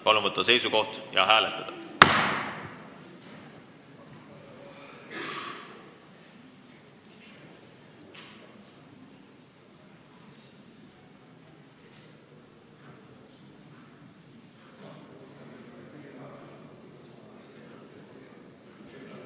Palun võtta seisukoht ja hääletada!